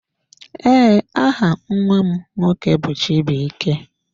Ee, aha nnwa m nwoke bụ chibuike.